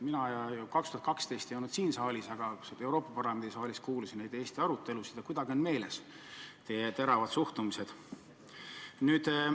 Mina ei olnud 2012. aastal siin saalis, aga Euroopa Parlamendi saalis olles kuulsin Eesti arutelusid ja kuidagi on meeles teie teravad suhtumised.